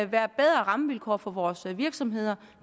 være bedre rammevilkår for vores virksomheder